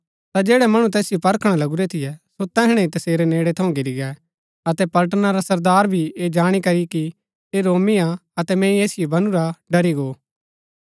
ता जैड़ै मणु तैसिओ परखणा लगुरै थियै सो तैहणै ही तसेरै नेड़ै थऊँ घिरी गै अतै पलटना रा सरदारा भी ऐह जाणी करी कि ऐह रोमी हा अतै मैंई ऐसिओ बनुरा डरी गो